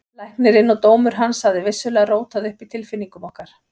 Læknirinn og dómur hans hafði vissulega rótað upp í tilfinningum okkar.